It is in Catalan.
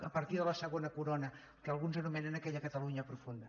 a partir de la segona corona que alguns anomenen aquella catalunya profunda